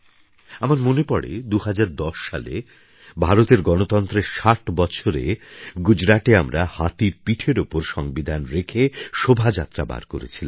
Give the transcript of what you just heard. আমার মনে পড়ে ২০১০ সালে ভারতের গণতন্ত্রের ৬০ বছরে গুজরাটে আমরা হাতির পিঠের ওপর সংবিধান রেখে শোভাযাত্রা বার করেছিলাম